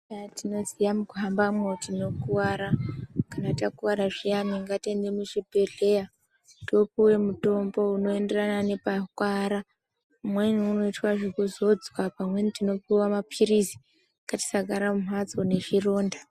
Eya tinoziya mukuhambamwo tinokuwara kana takuwara zviyani ngatiende muzvibhedhlera topuwe mutombo unoenderana nepakuwara umweni unoitwa zvekuzodzwa pamweni tinopuwa mapirizi ngatisagara mumhatso nezvironda